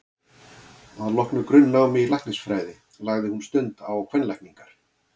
Að loknu grunnnámi í læknisfræði lagði hún stund á kvenlækningar.